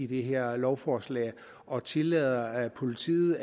det her lovforslag og tillader at politiet